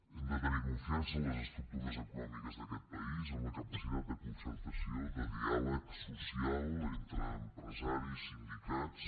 hem de tenir confiança en les estructures econòmiques d’aquest país en la capacitat de concertació de diàleg social entre empresaris sindicats